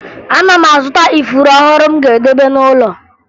Ana m azụta ifuru ọhụrụ m ga-edebe n'ụlọ